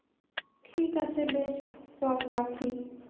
ঠিক আছে বেশ চল রাখি।